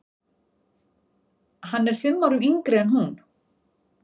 Hann er fimm árum yngri en hún.